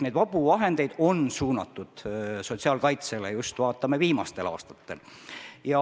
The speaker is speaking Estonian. Neid vabu vahendeid on suunatud sotsiaalkaitsesse just viimastel aastatel.